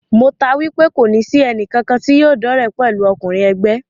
Mo taá wipe kòní sì ẹnì kankan tí yóò dọ́re pẹ̀lú ọkùnrin ègbé